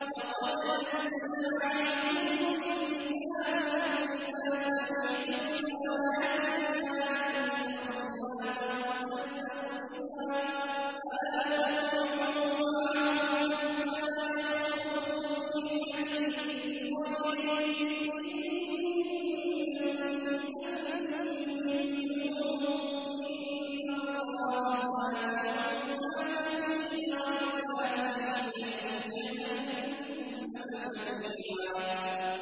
وَقَدْ نَزَّلَ عَلَيْكُمْ فِي الْكِتَابِ أَنْ إِذَا سَمِعْتُمْ آيَاتِ اللَّهِ يُكْفَرُ بِهَا وَيُسْتَهْزَأُ بِهَا فَلَا تَقْعُدُوا مَعَهُمْ حَتَّىٰ يَخُوضُوا فِي حَدِيثٍ غَيْرِهِ ۚ إِنَّكُمْ إِذًا مِّثْلُهُمْ ۗ إِنَّ اللَّهَ جَامِعُ الْمُنَافِقِينَ وَالْكَافِرِينَ فِي جَهَنَّمَ جَمِيعًا